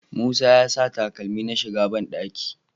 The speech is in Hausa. Musa ya sa takalmi na ya shiga banɗaki